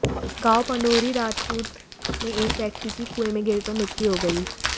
गांव पंडोरी राजपूत में एक व्यक्ति की कुंए में गिरकर मृत्यु हो गई